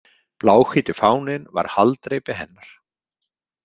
Bláhvíti fáninn var haldreipi hennar.